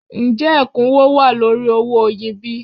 Ǹjẹ́ ẹ̀kúnwó wà lórí owó oyin bí?